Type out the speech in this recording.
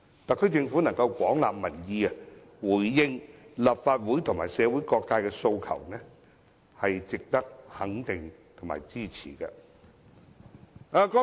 特區政府能夠廣納民意，回應立法會及社會各界的訴求，是值得肯定及支持的。